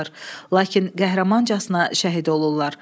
Lakin qəhrəmancasına şəhid olurlar.